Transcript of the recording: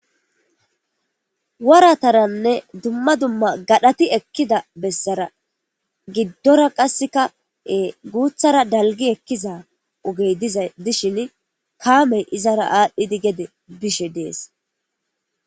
Warataranne dumma dumma gadhati ekkida bessara giddora qasseka guuthara dalgi ekkiza ugey dishin kaamey izara aadhdhidi gede bishe dees.